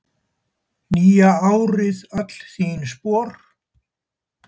nýja árið öll þín spor